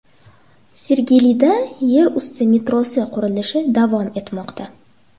Sergelida yer usti metrosi qurilishi davom etmoqda .